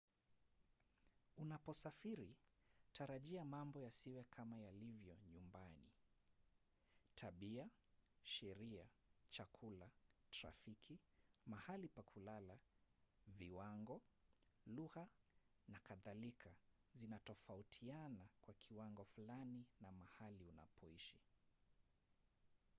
unaposafiri tarajia mambo yasiwe kama yalivyo nyumbani”. tabia sheria chakula trafiki mahali pa kulala viwango lugha na kadhalika zitatofautiana kwa kiwango fulani na mahali unapoishi